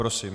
Prosím.